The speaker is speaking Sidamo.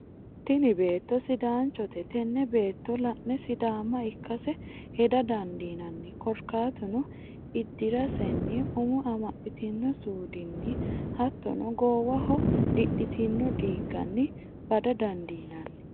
Tini beeto sidaanchote, tene beeto la'ne sidaama ikkase heda dandinanni, korikatuno idirasenni umo amaxitino suudinni hatono goowaho didhitino diiganni bada dandinanni